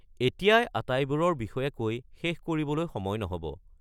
এতিয়াই আটাইবোৰৰ বিষয়ে কৈ শেষ কৰিবলৈ সময় নহ’ব।